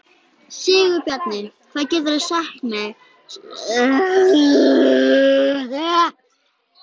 Sigurbjarni, hvað geturðu sagt mér um veðrið?